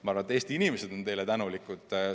Ma arvan, et Eesti inimesed on teile tänulikud.